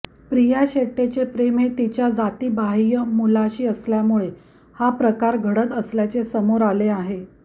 प्रिया शेटेचे प्रेम हे तिच्या जातीबाह्य मुलाशी असल्यामुळे हा प्रकार घडत असल्याचे समोर आले आहे